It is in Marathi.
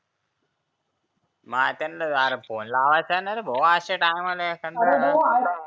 मग त्यानले अरे फोने लावाचा ना रे भो अशा टायमाले एखादया वेळेस तर